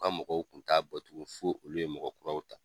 O ka mɔgɔw kun ta bɔ tuguni fo olu ye mɔgɔ kuraw ta.